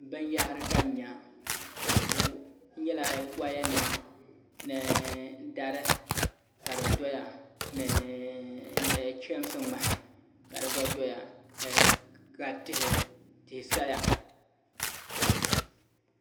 Binyahari ka n nya n nyɛla woya nima ni dari ka di doya ni chɛmsi ŋmahi ka di gba doya ka tihi saya